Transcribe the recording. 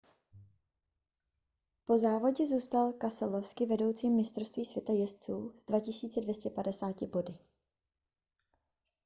po závodě zůstal keselowski vedoucím mistrovství světa jezdců s 2 250 body